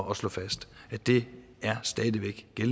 at slå fast at det stadig væk er